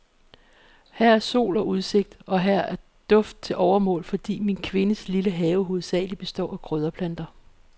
Her er sol og udsigt, og her er duft til overmål, fordi min kvindes lille have hovedsagelig består af krydderplanter.